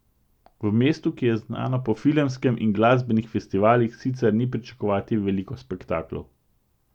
V mestu, ki je znano po filmskem in glasbenih festivalih, sicer ni pričakovati veliko spektaklov.